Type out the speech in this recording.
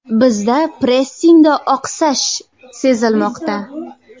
Bizda pressingda oqsash sezilmoqda.